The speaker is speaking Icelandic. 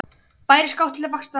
Bærist kát til vaxtar snúin.